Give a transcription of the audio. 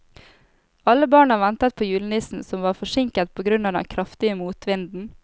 Alle barna ventet på julenissen, som var forsinket på grunn av den kraftige motvinden.